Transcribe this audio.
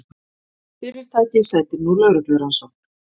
Fyrirtækið sætir nú lögreglurannsókn